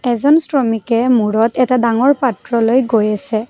এজন শ্ৰমিকে মূৰত এটা ডাঙৰ পাত্ৰ লৈ গৈ আছে।